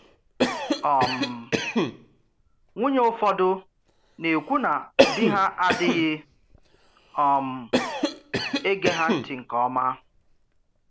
um Nwùnyè ụfọdụ na-ekwu na dì ha adịghị um ege ha ntị nke ọ́ma.